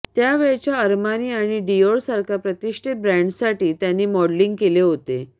त्या वेळच्या अरमानी आणि डियोर सारख्या प्रतिष्ठित ब्रँडससाठी त्यांनी मॉडेलिंग केले होते